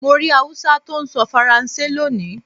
Mo rí Hausa tó ń sọ Faransé lónìí.